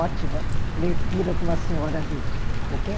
Ótima leitura para uma senhora de o quê?